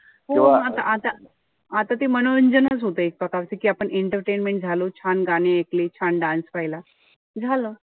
म आता आता आता ते मनोरंजनच होतय एक प्रकारचं कि आपण entertaintment झालो. छान गाणे ऐकले. छान dance पहिला. झालं.